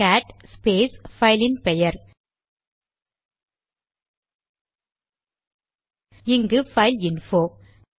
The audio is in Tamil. கேட் ஸ்பேஸ் பைலின் பெயர் இங்கு பைல்இன்போ